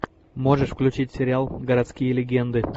можешь включить сериал городские легенды